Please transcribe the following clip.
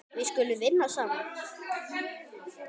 Við skulum vinna saman.